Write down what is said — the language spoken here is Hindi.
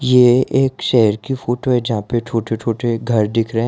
ये एक शहर की फोटो है जहां पे छोटे-छोटे घर दिख रहे है।